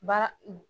Ba